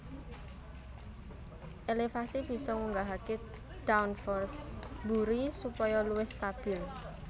Elevasi bisa ngunggahake downforce mburi supaya luwih stabil